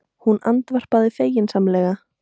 Hún andvarpar feginsamlega.